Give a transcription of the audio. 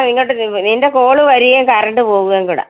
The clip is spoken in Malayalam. ഇങ്ങോട്ട് നീങ്ങ് നിന്റെ call വരികേം current പോകുവേം കൂടെ.